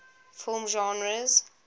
film genres